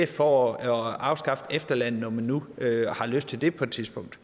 for at afskaffe efterlønnen når man nu har lyst til det på et tidspunkt